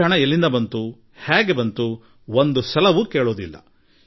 ಈ ಸಂಪತ್ತು ಎಲ್ಲಿಂದ ಬಂತು ಹೇಗೆ ಬಂತು ಎಂದು ಒಮ್ಮೆಯೂ ಪ್ರಶ್ನಿಸುವುದಿಲ್ಲ